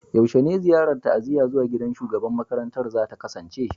Yaushe ne ziyarar ta'aziyya zuwa gidan shugaban makarantan za ta kasance?